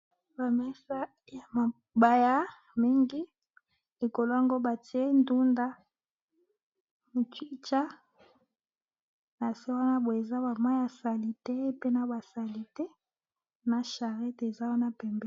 Ba mesa ya mabaya eza mingi awa namoni batiye likolo nango ndunda na muchicha pe namoni nase ya mesa mwa mai ya bosoto